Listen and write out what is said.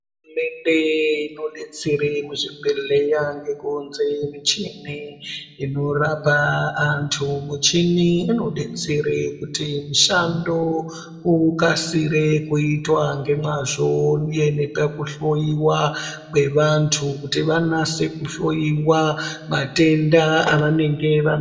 Mende inodetsere muzvibhedhlera ngekuunze muchini inorapa antu michini inodetsere kuti mushando ukasire kuitwa nemazvo uye nekakuhloiwa kwevantu kuti vanase kuhloiwa matenda avanenge vana.